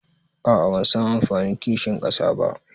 aa bansan anfanin kinshin kasa ba